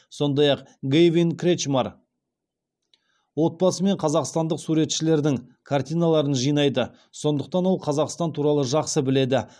сондай ақ гэйвин кретчмар отбасымен қазақстандық суретшілердің картиналарын жинайды сондықтан ол қазақстан туралы жақсы біледі